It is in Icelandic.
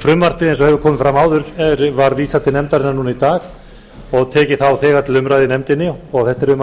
frumvarpinu eins og hefur komið fram áður var vísað til nefndarinnar núna í dag og tekið þá þegar til umræðu í nefndinni um er að